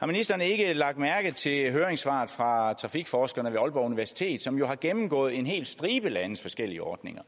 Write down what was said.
om ministeren ikke har lagt mærke til høringssvaret fra trafikforskerne ved aalborg universitet som jo har gennemgået en hel stribe landes forskellige ordninger